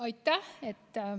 Aitäh!